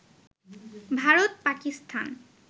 Bharat, Pakistan